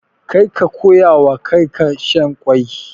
Kar ka koyawa kakarka shan ƙwai.